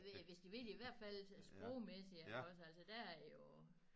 Ja hvis de vil i hvert fald sprogmæssigt iggås altså der er jo